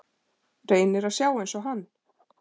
Reynir að sjá einsog hann.